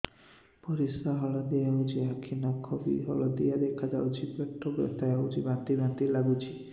ପରିସ୍ରା ହଳଦିଆ ହେଉଛି ଆଖି ନଖ ବି ହଳଦିଆ ଦେଖାଯାଉଛି ପେଟ ବଥା ହେଉଛି ବାନ୍ତି ବାନ୍ତି ଲାଗୁଛି